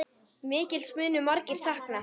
Mikils munu margir sakna.